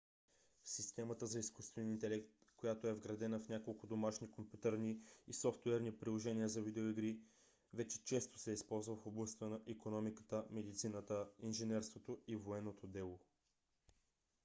системата за изкуствен интелект която е вградена в няколко домашни компютърни и софтуерни приложения за видеоигри вече често се използва в областта на икономиката медицината инженерството и военното дело